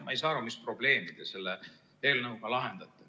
Ma ei saa aru, mis probleemi te selle eelnõuga lahendate.